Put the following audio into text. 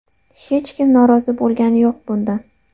Hech kim norozi bo‘lgani yo‘q bundan.